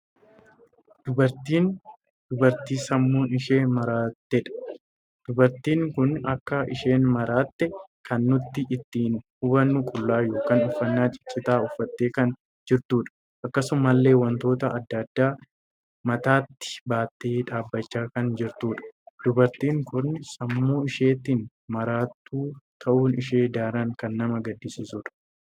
Dubartiin dubartii sammuu ishee maraatedha. dubartiin kun akka isheen maraatte kan nuti ittiin hubannu qullaa ykn uffannaa ciccitaa uffattee kan jirtuudha. akkasumallee wantoota addaa addaa mataatti baattee dhaabbachaa kan jirtuudha. dubartiin kun sammuu isheetiin maraatuu tahuun ishee daran kan nama gaddisiisuudha.